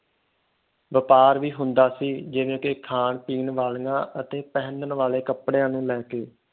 ਵਪਾਰ ਵੀ ਹੁੰਦਾ ਸੀ ਜਿਵੇ ਕਿ ਖਾਣ ਪੀਣ ਵਾਲਿਆਂ ਅਤੇ ਪਹਿਨਣ ਵਾਲੇ ਕਪੜਿਆਂ ਨੂੰ ਲੈ